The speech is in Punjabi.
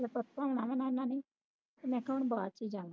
ਧੋਣਾ ਵੁਣਾ ਨੇ ਮੈਂ ਕਿਹਾ ਹੁਣ ਬਾਅਦ ਵਿੱਚ ਜਾਨੇ